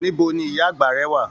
Níbo ní ìyá àgbà rẹ wà?